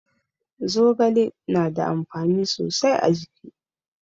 Zogale na da amfani sosai a jiki.